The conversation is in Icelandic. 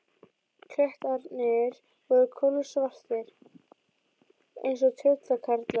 Klettarnir voru kolsvartir eins og tröllkarlar.